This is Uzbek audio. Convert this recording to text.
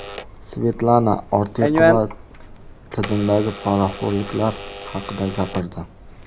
Svetlana Ortiqova tizimdagi poraxo‘rliklar haqida gapirdi.